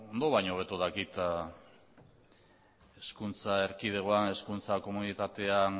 ondo baino hobeto dakit hizkuntza erkidegoan hizkuntza komunitatean